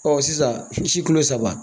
sisan